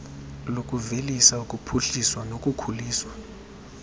lokuvelisa ukuphuhliswa nokukhuliswa